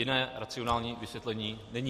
Jiné racionální vysvětlení není.